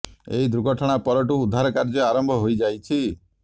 ଏହି ଦୁର୍ଘଟଣା ପରଠୁ ଉଦ୍ଧାର କାର୍ଯ୍ୟ ଆରମ୍ଭ ହୋଇ ଯାଇଛି